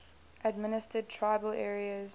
administered tribal areas